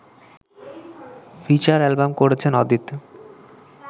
feature album করেছেন অদিত